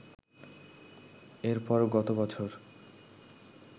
এরপর গত বছর